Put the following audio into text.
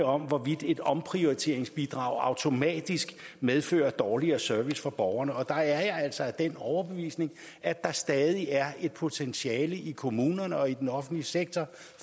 om hvorvidt et omprioriteringsbidrag automatisk medfører dårligere service for borgerne og der er jeg altså af den overbevisning at der stadig er et potentiale i kommunerne og i den offentlige sektor